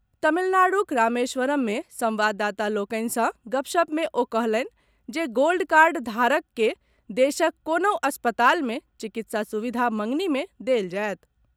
तमिलनाडूक रामेश्वरम मे संवाददाता लोकनि सँ गपशप मे ओ कहलनि जे गोल्ड कार्ड धारक के देशक कोनहुँ अस्पताल मे चिकित्सा सुविधा मंगनी मे देल जायत।